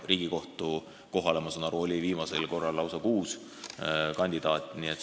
Riigikohtu liikme kohale, ma saan aru, oli viimasel korral lausa kuus kandidaati.